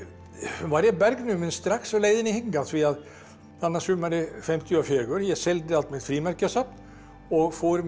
varð ég bergnuminn strax á leiðinni hingað þarna sumarið fimmtíu og fjögur ég seldi allt mitt frímerkjasafn og fór með